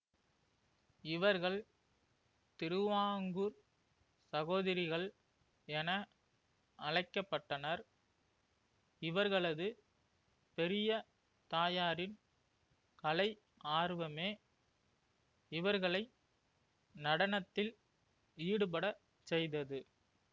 இவர்கள் திருவாங்கூர் சகோதரிகள் என அழைக்க பட்டனர் இவர்களது பெரிய தாயாரின் கலை ஆர்வமே இவர்களை நடனத்தில் ஈடுபடச் செய்தது